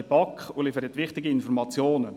der BaK. Sie liefern wichtige Informationen.